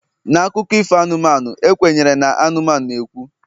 na akụkọ ifo anụmanụ, e kwenyere na anụmanụ na-ekwu